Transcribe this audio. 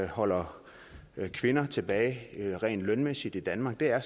holder kvinder tilbage rent lønmæssigt i danmark er